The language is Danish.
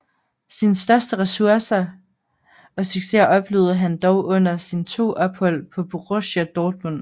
Sine største succeser oplevede han dog under sine to ophold hos Borussia Dortmund